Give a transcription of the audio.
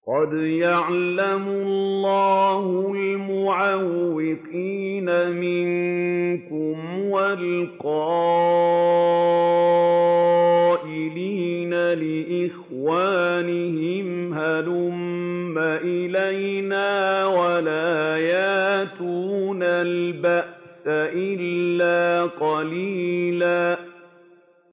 ۞ قَدْ يَعْلَمُ اللَّهُ الْمُعَوِّقِينَ مِنكُمْ وَالْقَائِلِينَ لِإِخْوَانِهِمْ هَلُمَّ إِلَيْنَا ۖ وَلَا يَأْتُونَ الْبَأْسَ إِلَّا قَلِيلًا